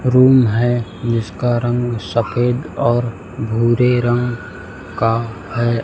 Room है जिसका रंग सफेद और भूरे रंग का है।